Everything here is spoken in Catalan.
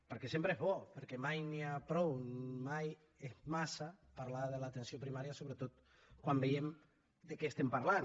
perquè sempre és bo perquè mai n’hi ha prou mai és massa parlar de l’atenció primària sobretot quan veiem de què estem parlant